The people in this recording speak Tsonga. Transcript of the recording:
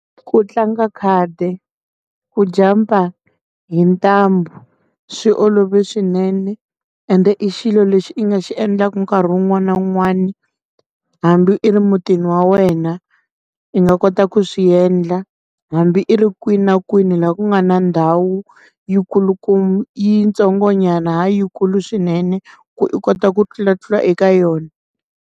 Ku tlanga khadi, ku jampa hi ntambu swi olove swinene ende i xilo lexi i nga xi endlaka nkarhi wun'wani na wun'wani hambi i ri mutini wa wena i nga kota ku swiendla hambi i ri kwini na kwini laha ku nga na ndhawu yi kulukumba yitsongo nyana ha yi kulu swinene ku u kota ku tlula tlula eka yona.